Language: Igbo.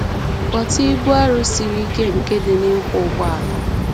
Ghọta ibu arụ siri ike nke dị n’ịkwọ ụgbọala.